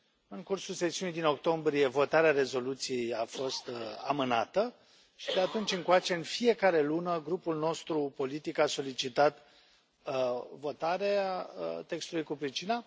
În cursul sesiunii din octombrie, votarea rezoluției a fost amânată și, de atunci încoace, în fiecare lună, grupul nostru politic a solicitat votarea textului cu pricina.